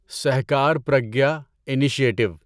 Sahkar Pragya initiative